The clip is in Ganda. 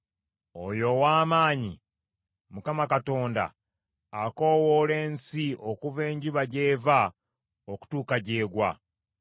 Oyo Owaamaanyi, Mukama Katonda, akoowoola ensi okuva enjuba gy’eva okutuuka gy’egwa.